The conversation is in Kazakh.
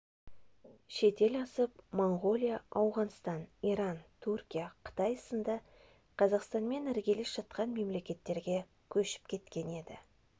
шетел асып моңғолия ауғанстан иран түркия қытай сынды қазақстанмен іргелес жатқан мемлекеттерге көшіп кеткен еді